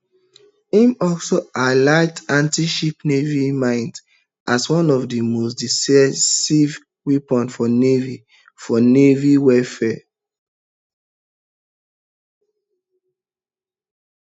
im also highlight antiship naval mines as one of di most decisive weapons for naval for naval warfare